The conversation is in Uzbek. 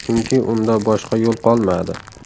Chunki unda boshqa yo‘l qolmadi.